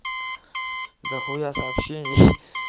дохуя сообщений